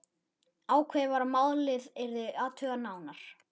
Ákveðið var að málið yrði athugað nánar.